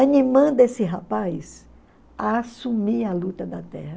animando esse rapaz a assumir a luta da terra.